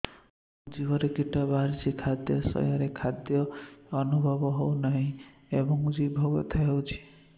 ମୋ ଜିଭରେ କିଟା ବାହାରିଛି ଖାଦ୍ଯୟରେ ସ୍ୱାଦ ଅନୁଭବ ହଉନାହିଁ ଏବଂ ଜିଭ ବଥା ହଉଛି